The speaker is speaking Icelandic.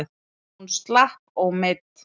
Hún slapp ómeidd.